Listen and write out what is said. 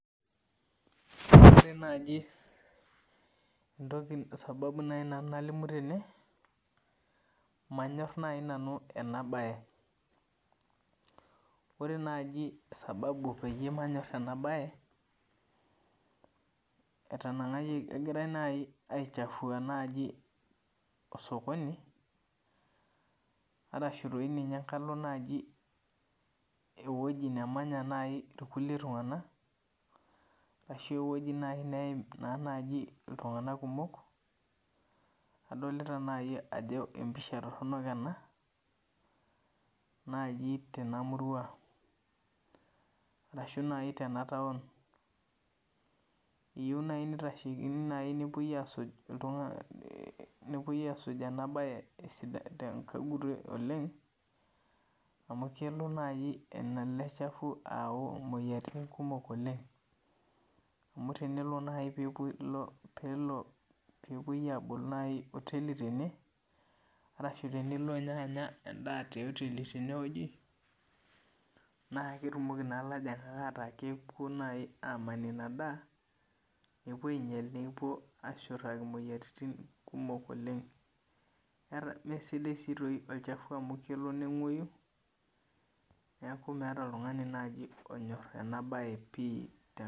Ore naaji sababu naaji nanu nalimu tene, nanyor naaji nanu ena bae. Ore naaji sababu peyie manyor ena bae ,kegirae naaji aichafua osokoni, orashu doi ninye eweji nemenya naaji irkulie tunganak ,ashu eweji naaji neim iltungank kumok .Adolita naaji ajo empisha toronok ena naaji tenamurua ashu naaji tenataon. Eyieu naaji nepuoi asuj ena bae tenegut oleng, amu kelo naaji ele shafu ayau moyiaritin kumok oleng. Amu tenelo naaji pee epoi abol oteli tene, arashu tenilo ninye anya endaa tioteli teneweji, naa ketumoki naa naji ilajungak ataa kepuo naji aman ina daa, nepuo ainyal nepuo ashurtaki moyiaritin kumok oleng. Mesidai sii olchafu amu kelo nengwoyu neeku maata naaji oltungani onyor ena bae pi.